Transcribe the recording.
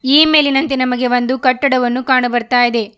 ಈ ಮೇಲಿನಂತೆ ನಮಗೆ ಒಂದು ಕಟ್ಟಡವನ್ನು ಕಾಣಬರ್ತಾಯಿದೆ.